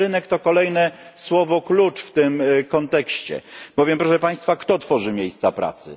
Wolny rynek to kolejne słowo klucz w tym kontekście, bowiem, proszę Państwa, kto tworzy miejsca pracy?